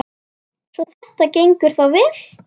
Svo þetta gengur þá vel?